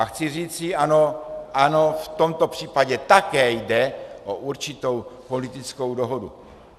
A chci říci ano, ano, v tomto případě také jde o určitou politickou dohodu.